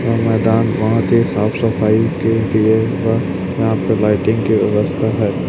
यह मैदान बहोत ही साफ सफाई के लिए यहां पर लाइटिंग की व्यवस्था है।